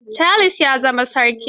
Charles ya za ma sarki.